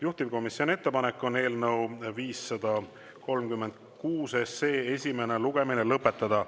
Juhtivkomisjoni ettepanek on eelnõu 536 esimene lugemine lõpetada.